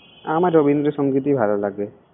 আমার রবীন্দ্রসংগীতই ভালো লাগে।